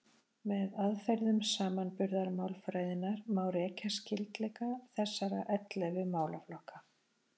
Með aðferðum samanburðarmálfræðinnar má rekja skyldleika þessara ellefu málaflokka.